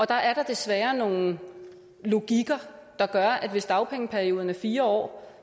der er da desværre nogle logikker der gør at hvis dagpengeperioden er fire år